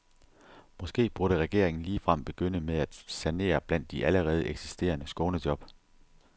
Måske burde regeringen ligefrem begynde med at sanere blandt de allerede eksisterende skånejob.